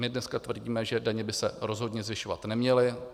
My dneska tvrdíme, že daně by se rozhodně zvyšovat neměly.